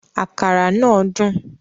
Àkàrà náà dùn